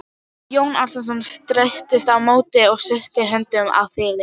Jón Arason streittist á móti og studdi höndum á þilið.